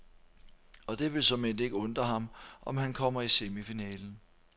Og det vil såmænd ikke undre ham, om han kommer i semifinalen.